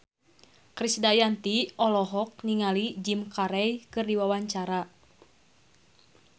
Krisdayanti olohok ningali Jim Carey keur diwawancara